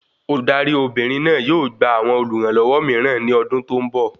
Olùdarí Obìnrin náà yóò gba awọn olùrànlọwọ mìíràn ní ọdún tó n bọ